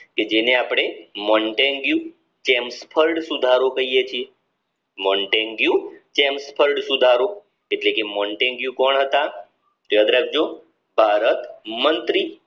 કે જેને અપડે મોલ્ડેન વ્યૂ કહીયે છીએ મોન્ટેન્ડ્યુ ચેમ્પોન સુધારો કહીયે છીએ એટલે કે મોન્ટેન્ડ્યુ કોણ હતા યાદ રાખજો ભારત મંત્રી